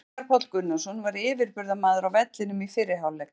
Veigar Páll Gunnarsson var yfirburðamaður á vellinum í fyrri hálfleik.